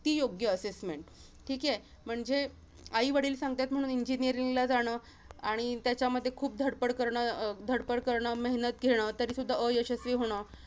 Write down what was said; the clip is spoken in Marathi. ती योग्य assessment ठीके? म्हणजे, आईवडील सांगतात म्हणून engineering ला जाणं आणि त्याच्यामध्ये खूप धडपड करणं, अं धडपड करणं, मेहेनत घेणं तरी सुद्धा अयशस्वी होणं